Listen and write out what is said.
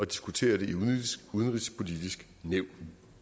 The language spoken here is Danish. diskutere det i udenrigspolitisk nævn